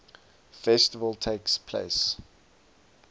festival takes place